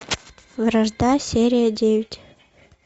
вражда серия девять